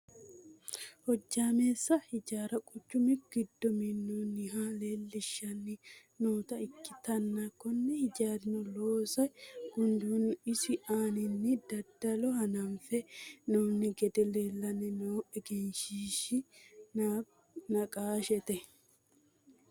hojjaameessa hijaara quchu giddo minnoonniha leelishshanni noota ikkitanna, kunne hijaarino looso gundeenna isi aananni daddalo hananfe hee'noonni gede leelanni noo egenshiishshi naqaashshete.